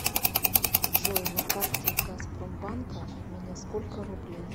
джой на карте газпромбанка у меня сколько рублей